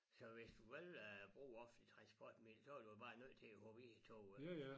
Så hvis du vil øh bruge offentlig transport mere så du jo bare nødt til at hoppe i et tog ellers